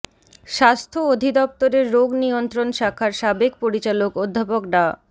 স্বাস্থ্য অধিদফতরের রোগ নিয়ন্ত্রণ শাখার সাবেক পরিচালক অধ্যাপক ডা